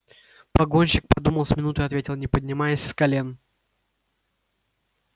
погонщик подумал с минуту и ответил не поднимаясь с колен